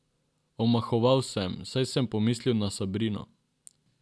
Omahoval sem, saj sem pomislil na Sabrino.